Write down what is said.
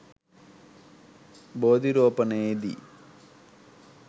බෝධි රෝපනයේ දී